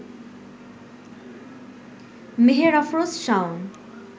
Meher Afroz Shaon